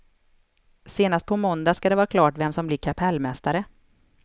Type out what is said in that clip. Senast på måndag ska det vara klart vem som blir kapellmästare.